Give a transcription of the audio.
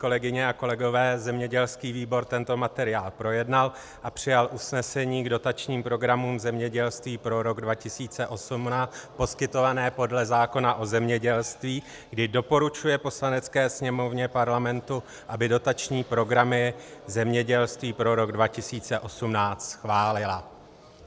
Kolegyně a kolegové, zemědělský výbor tento materiál projednal a přijal usnesení k dotačním programům zemědělství pro rok 2018 poskytovaným podle zákona o zemědělství, kdy doporučuje Poslanecké sněmovně Parlamentu, aby dotační programy zemědělství pro rok 2018 schválila.